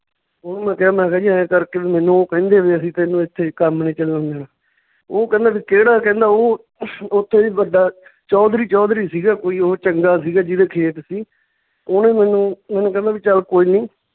ਉਹਨੂੰ ਮੈਂ ਕਿਹਾ ਮੈਂ ਕਿਹਾ ਜੀ ਇਉਂ ਕਰਕੇ ਵੀ ਮੈਨੂੰ ਉਹ ਕਹਿੰਦੇ ਵੀ ਅਸੀਂ ਤੈਨੂੰ ਏਥੇ ਕੰਮ ਨੀ ਚੱਲਣ ਦੇਣਾ ਓਹ ਕਹਿੰਦੇ ਵੀ ਕਿਹੜਾ ਕਹਿੰਦਾ ਓਹ ਉਹ ਤੋਂ ਵੀ ਵੱਡਾ ਚੌਧਰੀ ਚੌਧਰੀ ਸੀਗਾ ਕੋਈ ਓਹ ਚੰਗਾ ਸੀ ਜਿਹਦੇ ਖੇਤ ਸੀ, ਓਹਨੇ ਮੈਨੂੰ ਮੈਨੂੰ ਕਹਿੰਦਾ ਵੀ ਚੱਲ ਕੋਈ ਨੀ,